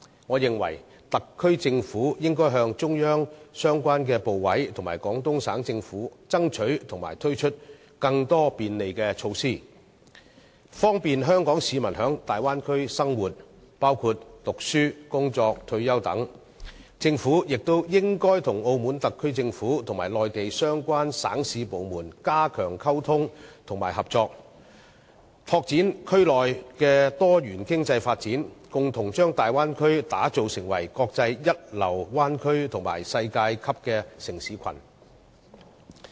我認為特區政府應向中央相關部委和廣東省政府，爭取推出更多便利措施，方便香港市民在大灣區生活，包括讀書、工作和退休等。政府亦應與澳門特區政府和內地相關省市部門加強溝通和合作，拓展區內的多元經濟發展，共同把大灣區打造成國際一流灣區及世界級的城市群。